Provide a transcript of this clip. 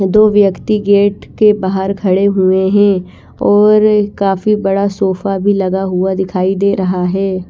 दो व्यक्ति गेट के बाहर खड़े हुए है और काफी बड़ा सोफ़ा भी लगा हुआ दिखाई दे रहा है।